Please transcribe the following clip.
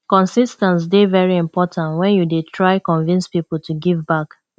consis ten ce dey very important when you dey try convince pipo to give back